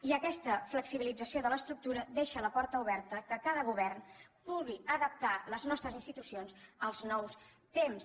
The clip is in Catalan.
i aquesta flexibilització de l’estructura deixa la porta oberta perquè cada govern pugui adaptar les nostres institucions als nous temps